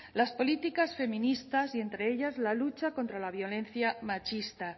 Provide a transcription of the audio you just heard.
las políticas feministas y entre ellas la lucha contra la violencia machista